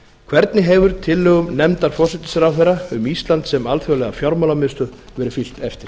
hvernig hefur tillögum nefndar forsætisráðherra um ísland sem alþjóðlega fjármálamiðstöð verið fylgt eftir